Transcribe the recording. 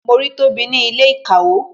Mo rí tobi ní ilé ìkawó